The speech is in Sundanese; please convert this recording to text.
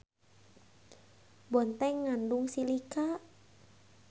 Bonteng ngandung silika.